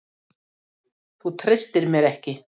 Þú treystir mér ekki!